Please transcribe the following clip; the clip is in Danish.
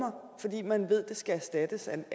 man ved skal erstattes af